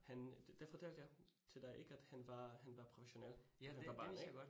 Han det fortalte jeg til dig ik? At han var, han var professionel, da han var barn ik